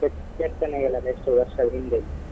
ಕೆತ್ತ್~ ಕೆತ್ತನೆಗಳೆಲ್ಲ ಎಷ್ಟು ವರ್ಷ ಹಿಂದೆದ್ದು.